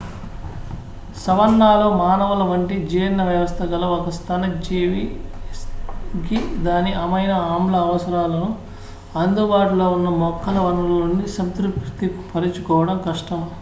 savanna లో మానవుల వంటి జీర్ణ వ్యవస్థ గల ఒక స్తన్యజీవికి దాని అమైనో-ఆమ్ల అవసరాలను అందుబాటులో ఉన్న మొక్కల వనరుల నుండి సంతృప్తిపరచుకోవడం కష్టం